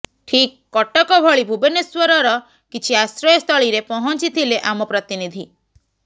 ଠିକ୍ କଟକ ଭଳି ଭୁବନେଶ୍ୱରର କିଛି ଆଶ୍ରୟସ୍ଥଳୀରେ ପହଂଚିଥିଲେ ଆମ ପ୍ରତିନିଧି